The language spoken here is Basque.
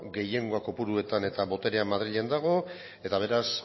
gehiengoa kopuruetan eta boterea madrilen dago eta beraz